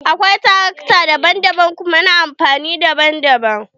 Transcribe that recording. Akwai tarakta daban daban kuma na amfani daban daban.